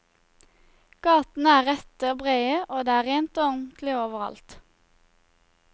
Gatene er rette og brede, og det er rent og ordentlig overalt.